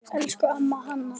Elsku amma Hanna.